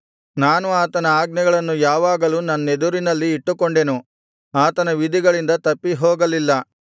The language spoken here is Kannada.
ನಾನು ಆತನ ಆಜ್ಞೆಗಳನ್ನು ಯಾವಾಗಲೂ ನನ್ನೆದುರಿನಲ್ಲಿ ಇಟ್ಟುಕೊಂಡೆನು ಆತನ ವಿಧಿಗಳಿಂದ ತಪ್ಪಿ ಹೋಗಲಿಲ್ಲ